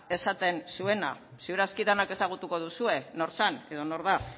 esaten zuena ziur aski denok ezagutuko duzue nor zen edo nor da